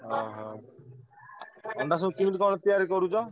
ଓହୋ ଅଣ୍ଡା ସବୁ କେମିତି କଣ ତିଆରି କରୁଛ?